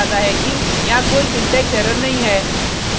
यह हमें यह बताता है कि यहाँ कोई सिंटेक्स एरर नहीं है